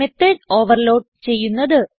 method overload ചെയ്യുന്നത്